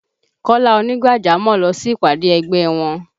Kọ́lá ònígbàjámọ̀ lọ sí ìpàdé ẹgbẹ́ wọn